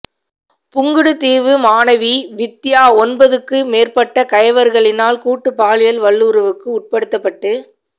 புங்குடுதீவு மாணவி வித்தியா ஒன்பதுக்கு மேற்பட்ட கயவர்களினால் கூட்டு பாலியல் வல்லுறவுக்கு உட்படுத்த பட்டு